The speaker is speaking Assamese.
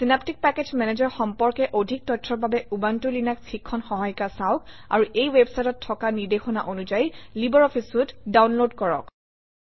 চিনেপ্টিক পেকেজ মেনেজাৰ সম্পৰ্কে অধিক তথ্যৰ বাবে উবুনটো লিনাস শিক্ষণ সহায়িকা চাওক আৰু এই ৱেবচাইটত থকা নিৰ্দেশনা অনুযায়ী লাইব্ৰঅফিছ চুইতে ডাউনলোড কৰক